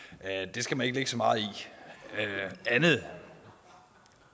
det skal man ikke lægge så meget i andet